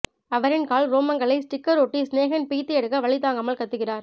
அவரின் கால் ரோமங்களை ஸ்டிக்கர் ஒட்டி சினேகன் பிய்த்து எடுக்க வலி தாங்காமல் கத்துகிறார்